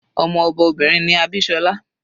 Ọmọ ọba obìnrin ni Abisola.